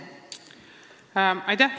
Aitäh!